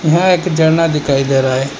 यह एक झरना दिखाई दे रहा है।